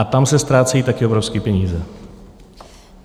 A tam se ztrácejí také obrovské peníze.